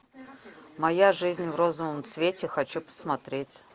моя жизнь в розовом цвете хочу посмотреть